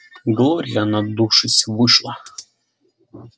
глория надувшись вышла